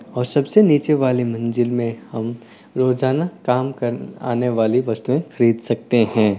और सबसे नीचे वाले मंजिल में हम रोजाना काम क आने वाली वस्तुएं खरीद सकते हैं।